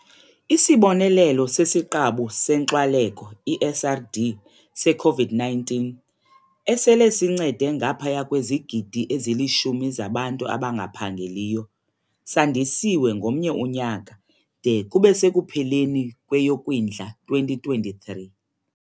ISibonelelo sesiQabu seNkxwaleko, i-SRD, se-COVID-19, esele sincede ngaphaya kwezigidi ezili-10 zabantu abangaphangeliyo, sandisiwe ngomnye unyaka - de kube sekupheleni kweyoKwindla 2023.